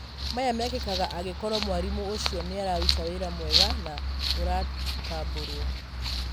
maya mekĩkaga angĩkorwo mwarimũ ũcio nĩararuta wĩra mwega na ũratambũrwo.